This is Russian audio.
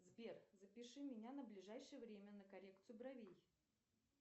сбер запиши меня на ближайшее время на коррекцию бровей